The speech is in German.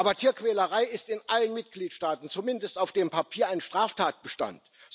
Aber Tierquälerei ist in allen Mitgliedstaaten zumindest auf dem Papier ein Straftatbestand.